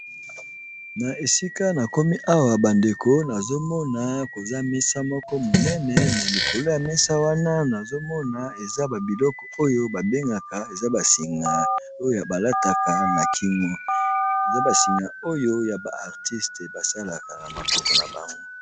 Na esika na komi awa bandeko nazomona koza mesa moko monene me likolo ya mesa wana nazomona eza babiloko oyo babengaka eza basinga oyoya balataka na kingu eza basinga oyo ya ba artiste basalaka na maboko na bango.